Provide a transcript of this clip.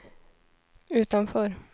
utanför